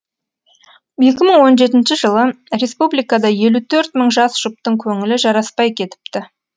екі мың он жетінші жылы республикада елу төрт мың жас жұптың көңілі жараспай кетіпті